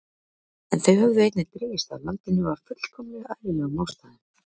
En þau höfðu einnig dregist að landinu af fullkomlega eðlilegum ástæðum.